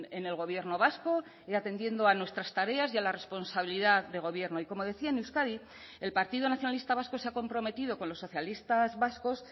en el gobierno vasco y atendiendo a nuestras tareas y a la responsabilidad de gobierno y como decía en euskadi el partido nacionalista vasco se ha comprometido con los socialistas vascos